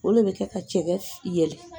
Ole bɛ kɛ ka cɛgɛ yɛlɛ